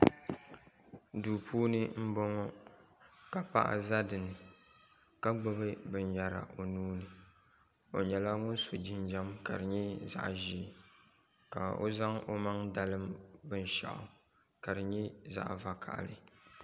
Duu puuni n boŋo ka paɣa ʒɛ dinni ka gbubi binyɛra o nuuni o nyɛla ŋun so jinjɛm ka di nyɛ zaɣ ʒiɛ ka o zaŋ o maŋ dalim binshaɣu ka di nyɛ zaɣ vakaɣili